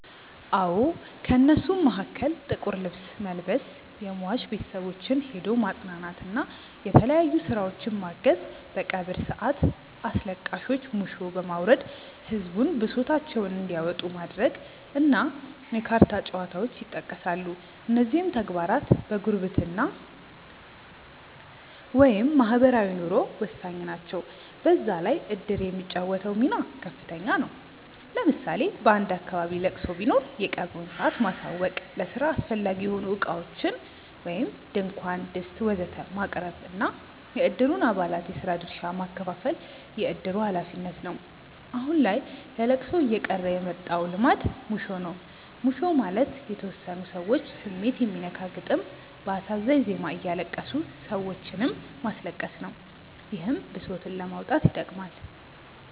አዎ። ከእነሱም መሀከል ጥቁር ልብስ መልበስ፣ የሟች ቤተሰቦችን ሄዶ ማፅናናት እና የተለያዩ ስራዎችን ማገዝ፣ በቀብር ሰአት አስለቃሾች ሙሾ በማውረድ ህዝቡን ብሶታቸውን እንዲያወጡ ማድረግ እና የካርታ ጨዋታዎች ይጠቀሳሉ። እነዚህም ተግባራት ለጉርብትና (ማህበራዊ ኑሮ) ወሳኝ ናቸው። በዛ ላይ እድር የሚጫወተው ሚና ከፍተኛ ነው። ለምሳሌ በአንድ አካባቢ ለቅሶ ቢኖር የቀብሩን ሰአት ማሳወቅ፣ ለስራ አስፈላጊ የሆኑ እቃዎችን (ድንኳን፣ ድስት ወዘተ...) ማቅረብ እና የእድሩን አባላት የስራ ድርሻ ማከፋፈል የእድሩ ሀላፊነት ነው። አሁን ላይ ለለቅሶ እየቀረ የመጣው ልማድ ሙሾ ነው። ሙሾ ማለት የተወሰኑ ሰዎች ስሜት የሚነካ ግጥም በአሳዛኝ ዜማ እያለቀሱ ሰዎችንም ማስለቀስ ነው። ይህም ብሶትን ለማውጣት ይጠቅማል።